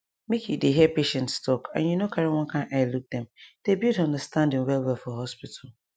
make you dey hear patients talk and you no carry one kind eye look dem dey build understanding well well for hospital